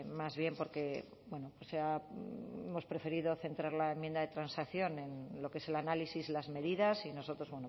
más bien porque hemos preferido centrar la enmienda de transacción en lo que es el análisis las medidas y nosotros